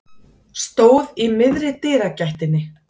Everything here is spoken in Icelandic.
Stóð í miðri dyragættinni.